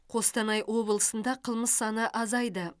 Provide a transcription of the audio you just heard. қостанай облысында қылмыс саны азайды